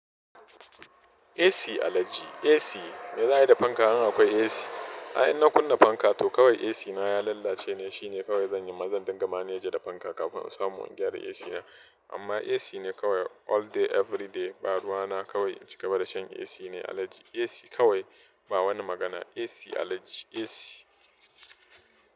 AC alhaji AC, me za'ayi da fanka in akwai AC. Ai ina kunna fanka to kawai AC na ya lalace ne, shine kawai zan yi mazan dangana ya je da fanka kafin su samo wani gyara AC na. Amma AC ne kawai all day everyday, ba ruwa na kawai in cigaba da shan AC ne alhaji AC kawai ba wani magana AC allergy AC.